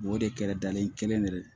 Mɔgɔ de kɛrɛ dalen kelen de